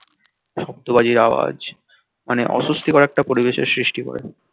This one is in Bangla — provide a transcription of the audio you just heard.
শব্দ বাজির আওয়াজ মানে অস্বস্তি কর একটা পরিবেশের সৃষ্টি করে দেয়